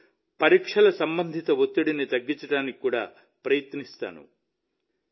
వారిలో పరీక్షల సంబంధిత ఒత్తిడిని తగ్గించడానికి కూడా ప్రయత్నిస్తాను